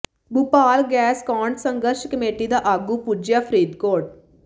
Bhopal gas ਕਾਂਡ ਸੰਘਰਸ਼ committee ਦਾ ਆਗੂ ਪੁੱਜਿਆ ਫ਼ਰੀਦਕੋਟ